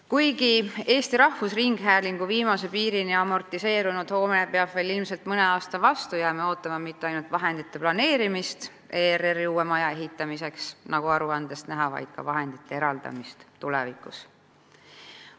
Kuigi Eesti Rahvusringhäälingu viimase piirini amortiseerunud hoone peab veel ilmselt mõne aasta vastu, jääme ootama mitte ainult vahendite eraldamist ERR-i uue maja ehitamiseks, nagu aruandest näha, vaid vahendite eraldamist ka tulevikus.